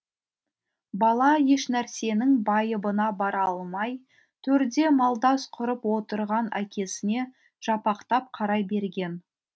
бала ешнәрсенің байыбына бара алмай төрде малдас құрып отырған әкесіне жапақтап қарай берген